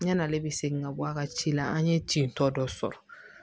Yan'ale bɛ segin ka bɔ a ka ci la an ye ten tɔ dɔ sɔrɔ